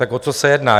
Tak o co se jedná?